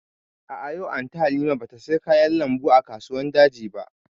A'a, yau Anty Halima ba ta saya kayan lambu a kasuwan daji ba